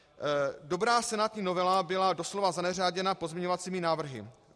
Dobrá senátní novela byla doslova zaneřáděna pozměňovacími návrhy.